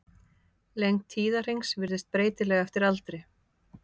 Lengd tíðahrings virðist breytileg eftir aldri.